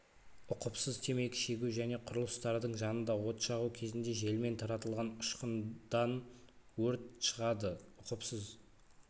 ұқыпсыз темекі шегу және құрылыстардың жанында от жағу кезінде желмен таратылған ұшқындан өрт шығады ұқыпсыз